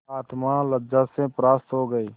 आत्मा लज्जा से परास्त हो गयी